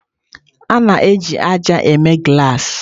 A na-eji ájá mee glassi.